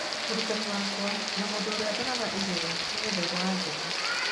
Mũrutani wakwa na mũndũ ũrĩa ndoraga igũrũ ni Gĩthaiga wa Ndũng'ũ